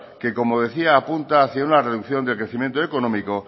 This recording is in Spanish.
que como decía apunta hacía una reducción del crecimiento económico